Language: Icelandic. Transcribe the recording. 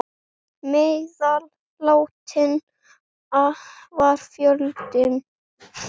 Meðal látinna var fjöldi barna.